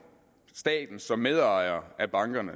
staten som medejer af bankerne